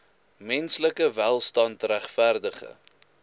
menslike welstand regverdige